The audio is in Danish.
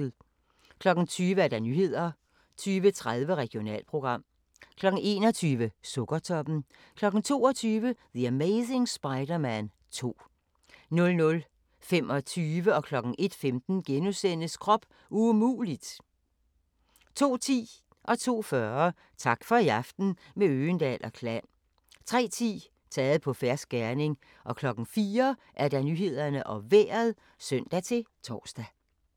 20:00: Nyhederne 20:30: Regionalprogram 21:00: Sukkertoppen 22:00: The Amazing Spider-Man 2 00:25: Krop umulig! * 01:15: Krop umulig! * 02:10: Tak for i aften – med Øgendahl & Klan 02:40: Tak for i aften – med Øgendahl & Klan 03:10: Taget på fersk gerning 04:00: Nyhederne og Vejret (søn-tor)